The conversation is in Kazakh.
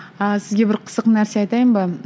ааа сізге бір қызық нәрсе айтайын ба